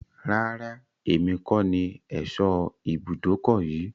Rárá, èmi kọ ní ẹ̀sọ́ ibùdókọ̀ yìí.